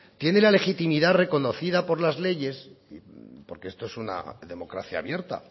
tiene la legitimidad reconocida por las leyes y porque esto es una democracia abierta